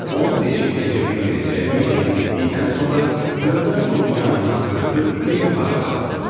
Onu deşib keçə bilməyəcəyimi yəqin etdikdən sonra dövrə vurub yanından ötdüm və yuxarı qalxdım.